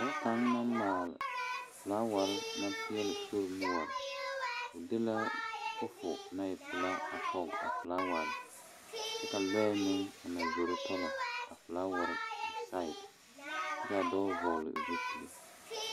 Boŋ kaŋe naŋ male felaware a sori noɔre o de fofo naŋ e peɛle a poɔ felawa kyɛ ka lɔɛ meŋ naŋ zoro toloŋ felaware seŋe ka dɔɔ vɔlee zu peli.